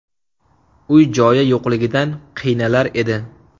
Uy-joyi yo‘qligidan qiynalar edi.